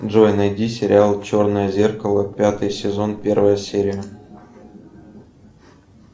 джой найди сериал черное зеркало пятый сезон первая серия